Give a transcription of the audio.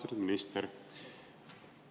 Austatud minister!